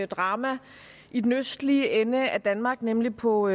drama i den østlige ende af danmark nemlig på